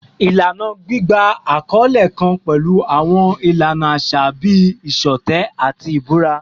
Ilana gbigba akọle kan pẹlu awọn ilana aṣa bii iṣọtẹ ati ibura